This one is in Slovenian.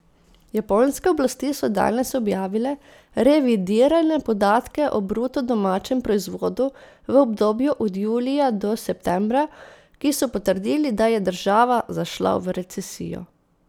Japonske oblasti so danes objavile revidirane podatke o bruto domačem proizvodu v obdobju od julija do septembra, ki so potrdili, da je država zašla v recesijo.